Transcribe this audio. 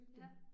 Ja